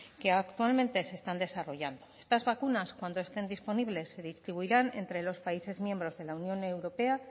que actualmente se están desarrollando estas vacunas cuando estén disponibles se distribuirán entre los países miembros de la unión europea